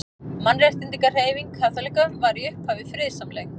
Mannréttindahreyfing kaþólikka var í upphafi friðsamleg.